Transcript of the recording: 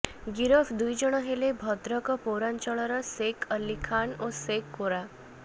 ଗିରଫ ଦୁଇଜଣ ହେଲେ ଭଦ୍ରକ ପୌରାଞ୍ଚଳର ସେକ୍ ଅଲ୍ଲୀ ଖାନ୍ ଓ ସେକ୍ ଗୋରା